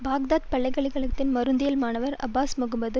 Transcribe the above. Baghdad பல்கலை கழகத்தின் மருந்தியல் மாணவர் அப்பாஸ் முகமது